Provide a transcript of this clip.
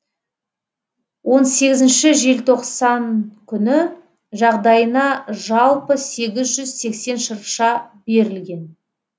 он сегізінші желтоқсан күні жағдайына жалпы сегіз жүз сексен шырша берілген